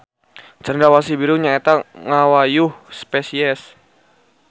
Cendrawasih Biru nya eta ngawayuh spesies.